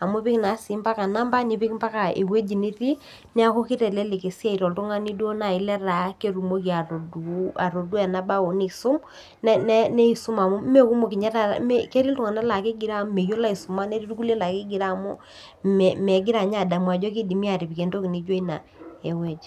amu epik naa sii ombaka number nipik mbaka ewueji nitii neeku kitelelek esiai too oltung'ani metaa duo kidim atodua enaa bao nisum amu meekumok ninye taata ketii iltung'ana laa kigiroo amu meyiolo aisuma netii irkulie laa kegiroo amu megira adamu Ajo kidimi atipik entoki naijio ena ewueji